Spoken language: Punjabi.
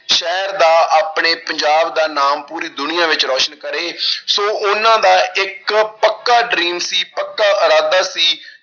ਸ਼ਹਿਰ ਦਾ, ਆਪਣੇ ਪੰਜਾਬ ਦਾ ਨਾਮ ਪੂਰੀ ਦੁਨੀਆਂ ਵਿੱਚ ਰੋਸ਼ਨ ਕਰੇ ਸੋ ਉਹਨਾਂ ਦਾ ਇੱਕ ਪੱਕਾ dream ਸੀ ਪੱਕਾ ਇਰਾਦਾ ਸੀ